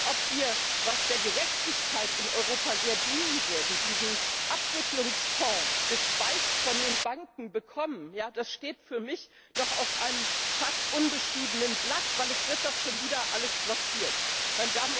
Und ob wir was der Gerechtigkeit in Europa sehr dienen würde diesen Abwicklungsfonds, gespeist von den Banken, bekommen, das steht für mich noch auf einem fast unbeschriebenen Blatt, weil doch schon wieder alles blockiert wird.